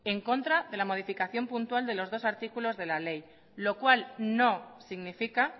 en contra de la modificación puntual de los dos artículos de la ley lo cual no significa